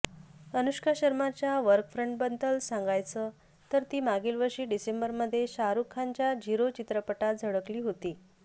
अनुष्का शर्माच्या वर्कफ्रंटबद्दल सांगायचं तर ती मागील वर्षी डिसेंबरमध्ये शाहरूख खानच्या झिरो चित्रपटात झळकली होती